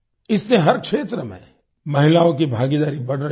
इससे हर क्षेत्र में महिलाओं की भागीदारी बढ़ रही है